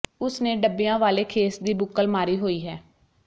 ਉਸ ਨੇ ਡੱਬੀਆਂ ਵਾਲੇ ਖੇਸ ਦੀ ਬੁੱਕਲ ਮਾਰੀ ਹੋਈ ਹੈ